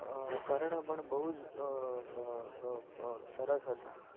અ કર્ણ પણ બોજ અ અ અ સરસ હતા.